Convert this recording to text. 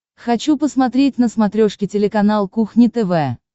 хочу посмотреть на смотрешке телеканал кухня тв